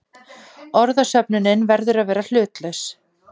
Orðasöfnunin verður að vera hlutlaus.